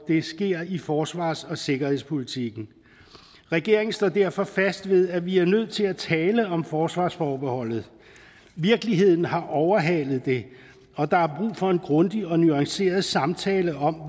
det sker i forsvars og sikkerhedspolitikken regeringen står derfor fast ved at vi er nødt til at tale om forsvarsforbeholdet virkeligheden har overhalet det og der er brug for en grundig og nuanceret samtale om